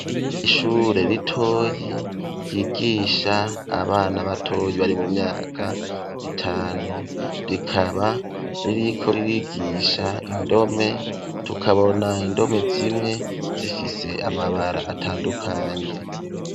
Ishure ritoyi ryigisha abana batoyi bari mu myaka itanu rikaba ririko ririgisha indome tukabona indome zimwe zifise amabara atandukanye.